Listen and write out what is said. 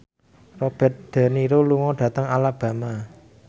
Robert de Niro lunga dhateng Alabama